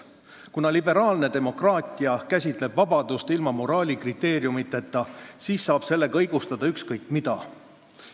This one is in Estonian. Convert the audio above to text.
Kuna liberaalne demokraatia käsitleb vabadust ilma moraalikriteeriumideta, siis saab sellega õigustada ükskõik mida.